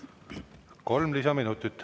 Kolm lisaminutit.